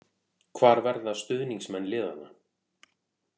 Hvar verða stuðningsmenn liðanna.